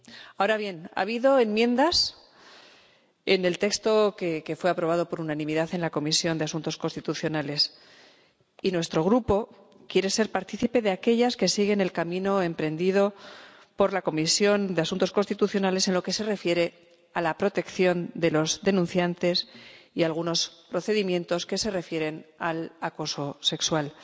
Ahora bien, ha habido enmiendas en el texto que fue aprobado por unanimidad en la Comisión de Asuntos Constitucionales, y nuestro Grupo quiere ser partícipe de aquellas que siguen el camino emprendido por la Comisión de Asuntos Constitucionales en lo que se refiere a la protección de los denunciantes y en algunos procedimientos que se refieren al acoso sexual.